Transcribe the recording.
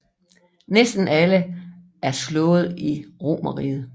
Næsten alle er slået i romerriget